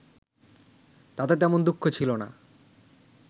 তাতে তেমন দুঃখ ছিল না